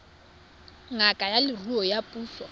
ngaka ya leruo ya puso